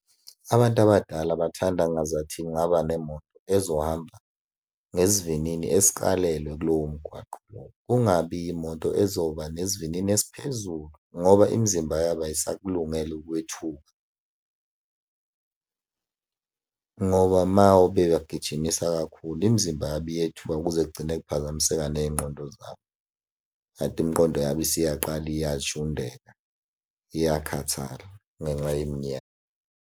Abantu abadala bathanda ngazathi kungaba nemoto ezohamba ngesivinini esikalelwe kulowo mgwaqo lowo. Kungabi yimoto ezoba nesivinini esiphezulu, ngoba imizimba yabo ayisakulungele ukwethuka ngoba uma ube wabagijimisa kakhulu imizimba yabo iyethuka kuze kugcine kuphazamiseka ney'ngqondo zabo, kanti imiqondo yabo isiyaqala iyay'shundela, iyakhathaza ngenxa yeminyaka.